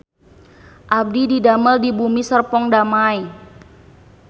Abdi didamel di Bumi Serpong Damai